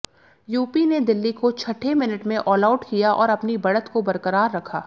UP ने दिल्ली को छठे मिनट में ऑलआउट किया और अपनी बढ़त को बरकरार रखा